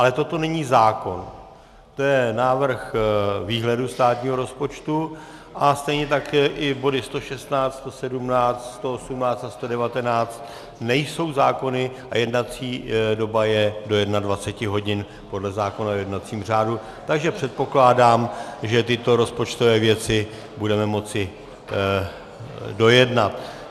Ale toto není zákon, to je návrh výhledu státního rozpočtu, a stejně tak i body 116, 117, 118 a 119 nejsou zákony a jednací doba je do 21 hodin podle zákona o jednacím řádu, takže předpokládám, že tyto rozpočtové věci budeme moci dojednat.